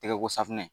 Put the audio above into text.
Tɛgɛ ko safunɛ